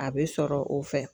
A bɛ sɔrɔ o fɛ.